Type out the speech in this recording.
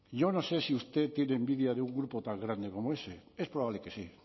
yo no sé si usted tiene envidia de un grupo tan grande como ese es probable que sí